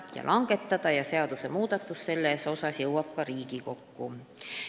Selline seadusmuudatus jõuab ka Riigikokku.